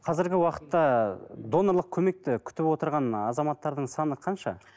қазіргі уақытта донорлық көмекті күтіп отырған ы азаматтардың саны қанша